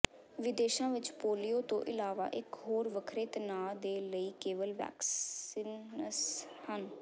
ਵਿਦੇਸ਼ਾਂ ਵਿੱਚ ਪੋਲੀਓ ਤੋਂ ਇਲਾਵਾ ਇੱਕ ਹੋਰ ਵੱਖਰੇ ਤਣਾਅ ਦੇ ਲਈ ਕੇਵਲ ਵੈਕਸੀਨਸ ਹਨ